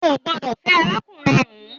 O gbọdọ̀ fẹ́ arákùnrin hun